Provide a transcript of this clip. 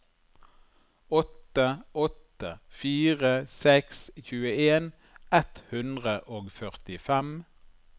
åtte åtte fire seks tjueen ett hundre og førtifem